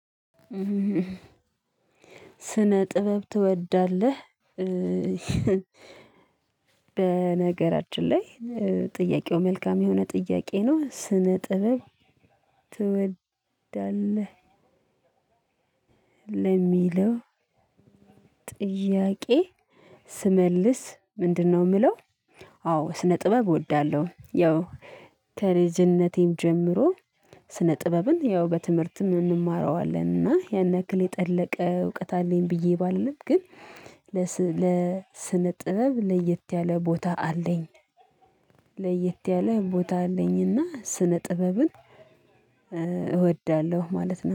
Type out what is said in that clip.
ስነ ጥበብ ትወዳለህ? በነገራችን ላይ ጥያቄው መልካም የሆነ ጥያቄ ነው። ስነ ጥበብ ትወዳለህ? ለሚለው ጥያቄ ስመልስ ምንድነው የምለው? አዎ ስነ ጥበብ እወዳለሁ። ያው ከልጅነቴም ጀምሮ ስነ ጥበብን ያው በትምህርትም እንማረዋለን እና ያን ያክል የጠለቀ እውቀት አለኝ ብዬ ባልልም ግን። ለስነ ጥበብ ለየት ያለ ቦታ አለኝ። ለየት ያለ ቦታ አለኝና ስነ ጥበብን እወዳለሁ ማለት ነው